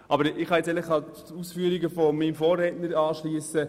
Anderseits kann ich mich auch den Ausführungen meines Vorredners anschliessen.